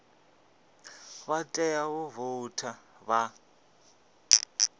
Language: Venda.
vha tea u voutha vha